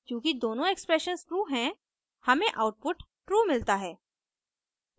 चूँकि दोनों expressions true हैं हमें आउटपुट ट्रू मिलता है